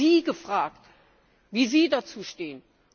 Und wir haben Sie gefragt, wie Sie dazu stehen.